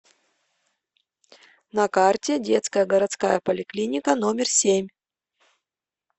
на карте детская городская поликлиника номер семь